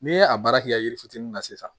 N'i ye a baara kɛ yiri fitinin na sisan